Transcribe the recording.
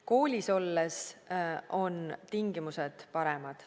Koolis olles on tingimused paremad.